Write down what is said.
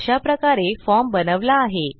अशाप्रकारे फॉर्म बनवला आहे